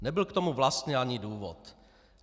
Nebyl k tomu vlastně ani důvod.